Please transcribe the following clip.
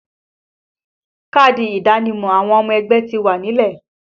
Káàdì ìdánimọ̀ àwọn ọmọ ẹgbẹ́ ti wà nílẹ̀